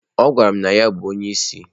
Ọ gwara m na ya bụ onye isi.